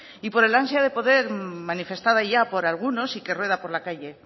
y por al ansia de poder manifestada ya por algunos y que rueda por la calle